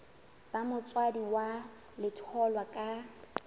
ba motswadi wa letholwa ka